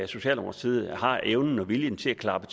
socialdemokratiet har evnen og viljen til at klappe